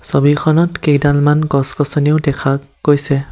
ছবিখনত কেইডালমান গছ-গছনিও দেখা গৈছে।